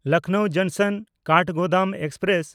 ᱞᱚᱠᱷᱱᱚᱣ ᱡᱚᱝᱥᱚᱱ–ᱠᱟᱴᱷᱜᱳᱫᱟᱢ ᱮᱠᱥᱯᱨᱮᱥ